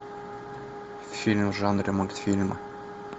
фильм в жанре мультфильмы